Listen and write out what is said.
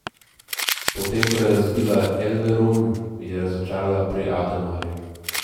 Potem ko je razbila Elverum, je razočarala pri Ademarju.